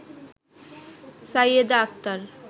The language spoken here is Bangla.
সাইয়েদা আক্তার